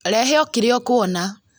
Rehe okĩrĩa ũkwona